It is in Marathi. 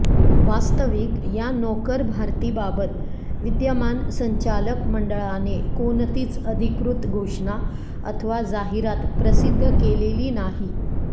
वास्तविक या नोकर भरतीबाबत विद्यमान संचालक मंडळाने कोणतीच अधिकृत घोषणा अथवा जाहिरात प्रसिद्ध केलेली नाही